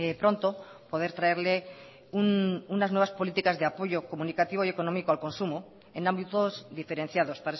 pronto poder traerle unas nuevas políticas de apoyo comunicativo y económico al consumo en ámbitos diferenciados